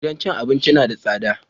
Gidan cin abincin na da tsada